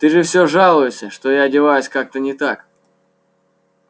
ты же все жалуешься что я одеваюсь как-то не так